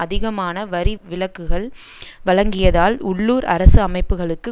அதிகமான வரி விலக்குகள் வழங்கியதால் உள்ளூர் அரசு அமைப்புகளுக்கு